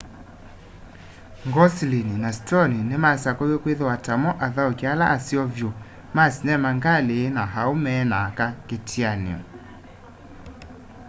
gosling na stone nimasakuiwe kwithiwa tamo athauki ala aseo vyu ma sinema ngali na aume na aka kiatianio